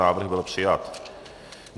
Návrh byl přijat.